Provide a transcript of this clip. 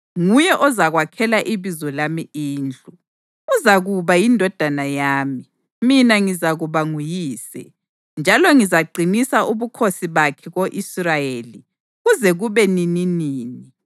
Nguye ozakwakhela iBizo lami indlu. Uzakuba yindodana yami, mina ngizakuba nguyise. Njalo ngizaqinisa ubukhosi bakhe ko-Israyeli kuze kube nininini.’